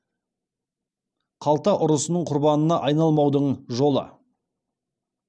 қалта ұрысының құрбанына айналмаудың жолы